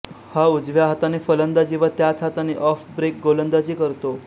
हा उजव्या हाताने फलंदाजी व त्याच हाताने ऑफब्रेक गोलंदाजी करतो